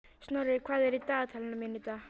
Snorri, hvað er í dagatalinu mínu í dag?